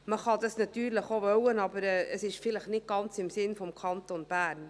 Das kann man natürlich auch wollen, aber es ist vielleicht nicht ganz im Sinn des Kantons Bern.